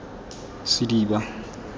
sediba